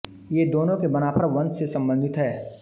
ये दोनों के बनाफर वंश से संबंधित हैं